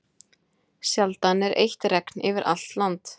Sjaldan er eitt regn yfir allt land.